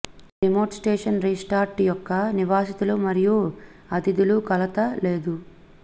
ఈ remote station resort యొక్క నివాసితులు మరియు అతిథులు కలత లేదు